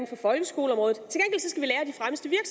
for folkeskoleområdet